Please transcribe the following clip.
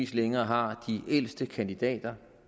længere har de ældste kandidater